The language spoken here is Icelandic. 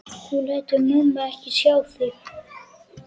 Þú lætur mömmu ekki sjá þig!